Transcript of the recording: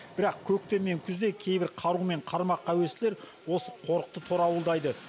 бірақ көктем мен күзде кейбір қару мен қармаққа әуестілер осы қорықты торауылдайды